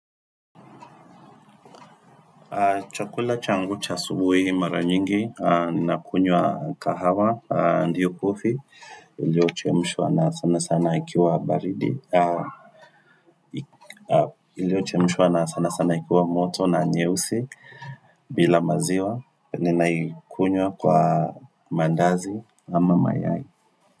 Chakula changu cha asubuhi mara nyingi, ninakunywa kahawa, ndiyo coffee, iliyochemshwa na sana sana ikiwa baridi, iliochemishwa na sana sana ikiwa moto na nyeusi bila maziwa, ninaikunywa kwa mandazi ama mayai.